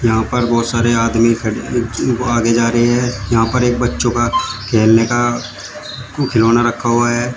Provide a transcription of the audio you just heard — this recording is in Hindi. यहां पर बहुत सारे आदमी खड़े आगे जा रहे हैं यहां पर एक बच्चों का खेलने का खिलौना रखा हुआ है।